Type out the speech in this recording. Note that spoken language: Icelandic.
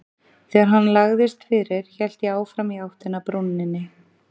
Þegar hann lagðist fyrir hélt ég áfram í áttina að brúninni.